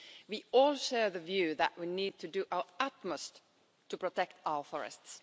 We all share the view that we need to do our utmost to protect our forests.